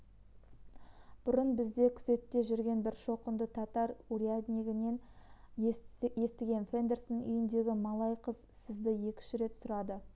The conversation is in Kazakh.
бұрын бізде күзетте жүрген бір шоқынды татар уряднигінен естігем фондерсон үйіндегі малай қыз сізді екі-үш рет сұрады